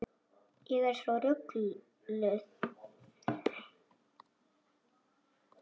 Ég er svo rugluð.